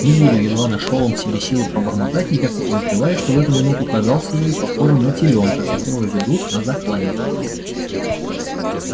не буду едва нашёл он в себе силы пробормотать никак не подозревая что в эту минуту казался ей похожим на телёнка которого ведут на заклание